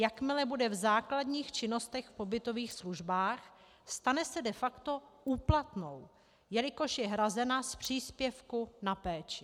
Jakmile bude v základních činnostech v pobytových službách, stane se de facto úplatnou, jelikož je hrazena z příspěvku na péči.